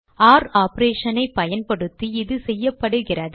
ஒர் operation ஐ பயன்படுத்தி இது செய்யப்படுகிறது